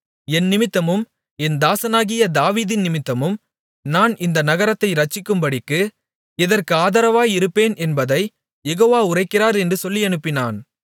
என் நிமித்தமும் என் தாசனாகிய தாவீதின் நிமித்தமும் நான் இந்த நகரத்தை இரட்சிக்கும்படிக்கு இதற்கு ஆதரவாயிருப்பேன் என்பதைக் யெகோவா உரைக்கிறார் என்று சொல்லியனுப்பினான்